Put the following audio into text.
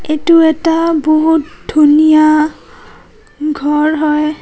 এইটো এটা বহুত ধুনীয়া ঘৰ হয়।